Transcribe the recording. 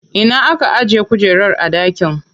Ina aka ajiye kujerar a dakin?